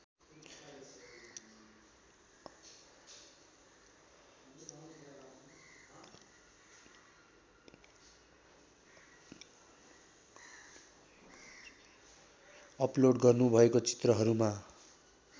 upload गर्नुभएको चित्रहरूमा